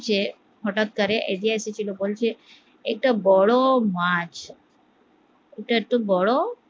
যে হটাৎ করে এগিয়ে এসেছিলো বলছে একটা বড়ো মাছ ওটা একটু বড়